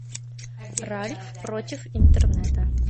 ральф против интернета